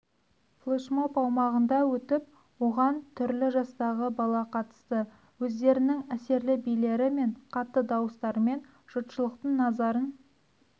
флешмоб аумағында өтіп оған түрлі жастағы бала қатысты өздерінің әсерлі билері мен қатты дауыстарымен жұртшылықтың назарларын